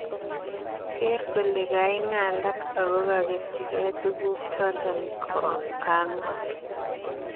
Geer kole kaingalak ako kogetyinge tuguk choto kangol